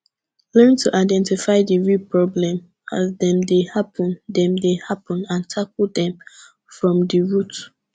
learn how to identify di real problem as dem dey happen dem dey happen and tackle dem from di root